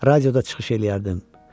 Radioda çıxış eləyərdim.